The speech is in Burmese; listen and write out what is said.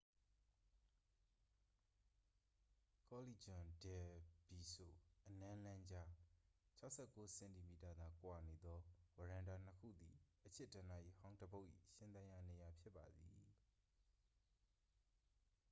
ကောလီဂျွန် ဒယ် ဘီစို အနမ်းလမ်းကြား။ ၆၉ စင်တီမီတာသာကွာနေသော ဝရန်တာနှစ်ခုသည် အချစ်ဒဏ္ဍာရီဟောင်းတစ်ပုဒ်၏ ရှင်သန်ရာနေရာဖြစ်ပါသည်။